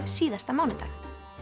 síðasta mánudag